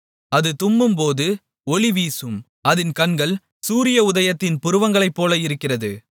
அது தும்மும்போது ஒளி வீசும் அதின் கண்கள் சூரியஉதயத்தின் புருவங்களைப்போல இருக்கிறது